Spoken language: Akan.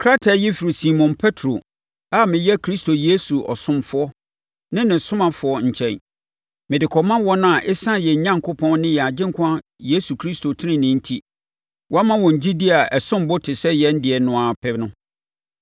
Krataa yi firi Simon Petro a meyɛ Yesu Kristo ɔsomfoɔ ne ne ɔsomafoɔ nkyɛn, Mede kɔma wɔn a ɛsiane yɛn Onyankopɔn ne yɛn Agyenkwa Yesu Kristo tenenee enti, wɔama wɔn gyidie a ɛsom bo te sɛ yɛn deɛ no ara pɛ no: